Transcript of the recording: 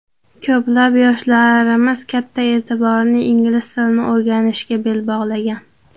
Ko‘plab yoshlarimiz katta e’tiborini ingliz tilini o‘rganishga bel bog‘lagan.